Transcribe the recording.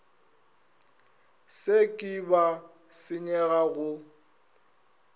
se ke ba senyega go